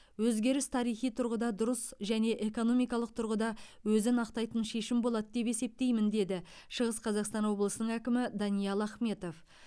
өзгеріс тарихи тұрғыда дұрыс және экономикалық тұрғыда өзін ақтайтын шешім болады деп есептеймін деді шығыс қазақстан облысының әкімі даниал ахметов